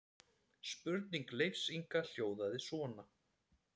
Spurning Leifs Inga hljóðaði svona: